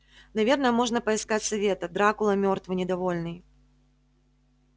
наверное можно поискать совета дракула мёртвый недовольный